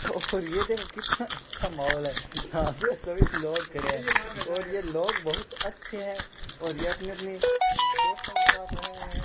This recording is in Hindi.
और ये देखो कितना अच्छा माहौल है यहां ये सभी लोग खड़े हैं और ये लोग बहुत अच्छे हैं और ये अपनी अपनी दोस्तों के साथ आए हुए हैं।